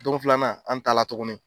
Don filanan an taala tuguni.